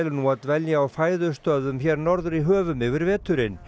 nú að dvelja á hér norður í höfum yfir veturinn